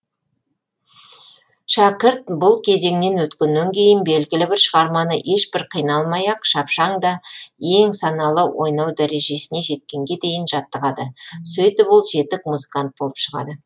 шәкірт бұл кезеңнен өткеннен кейін белгілі бір шығарманы ешбір қиналмай ақ шапшаң да ең саналы ойнау дәрежесіне жеткенге дейін жаттығады сөйтіп ол жетік музыкант болып шығады